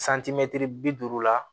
bi duuru la